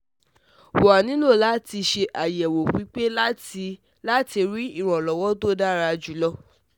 Wa nilo la ti se ayewo pipe lati lati ri iranlowo to dara julo